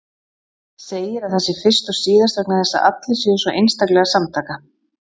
Segir að það sé fyrst og síðast vegna þess að allir séu svo einstaklega samtaka.